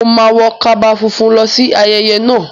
Mo máa wọ kaba funfun lọ sí ayẹyẹ náà.